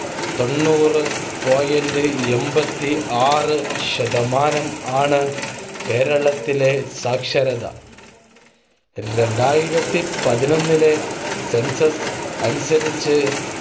തൊണ്ണൂറു point എൺപത്തിആറ് ശതമാനം ആണ് കേരളം ത്തിലെ സാക്ഷരത. രണ്ടായിരത്തി പതിനൊന്നിലെ census അനുസരിച്ച്